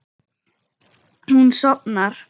Hún sofnar.